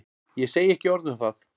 Ég segi ekki orð um það.